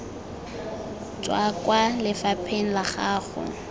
tswa kwa lefapheng la gago